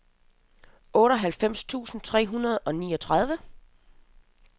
otteoghalvfems tusind tre hundrede og niogtredive